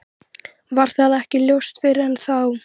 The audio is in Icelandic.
Varð það ekki ljóst fyrr en þá.